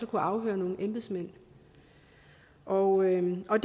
kunne afhøre nogle embedsmænd og og